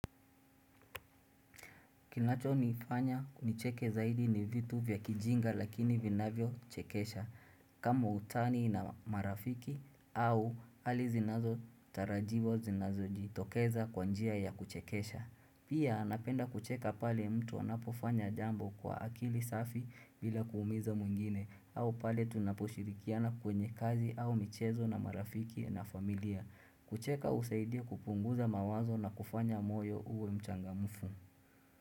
Kinacho nifanya nicheke zaidi ni vitu vya kijinga lakini vinavyochekesha. Kama utani na marafiki au hali zinazo tarajiwa zinazo jitokeza kwa njia ya kuchekesha. Pia napenda kucheka pale mtu wanapofanya jambo kwa akili safi bila kuumiza mwingine au pale tunaposhirikiana kwenye kazi au michezo na marafiki na familia. Kucheka husaidia kupunguza mawazo na kufanya moyo uwe mchangamufu.